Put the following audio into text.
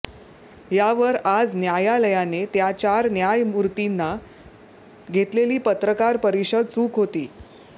यावर आज न्यायालयाने त्या चार न्यायमूर्तींनी घेतलेली पत्रकार परिषद चूक होती